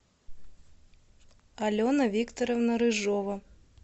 алена викторовна рыжова